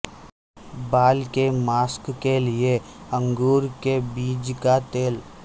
بال کے ماسک کے لئے انگور کے بیج کا تیل